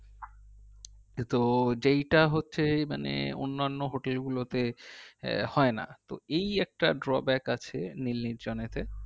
কিন্তু যেইটা হচ্ছে মানে অন্যান্য hotel গুলোতে হয় না তো এই একটা drawback আছে নীল নির্জনেতে